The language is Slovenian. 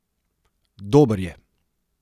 Dober je.